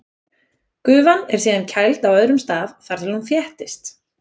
Gufan er síðan kæld á öðrum stað þar til hún þéttist.